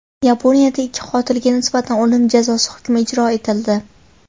Yaponiyada ikki qotilga nisbatan o‘lim jazosi hukmi ijro etildi.